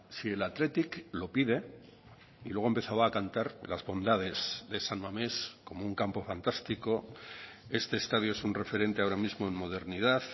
si el athletic lo pide y luego empezaba a cantar las bondades de san mamés como un campo fantástico este estadio es un referente ahora mismo en modernidad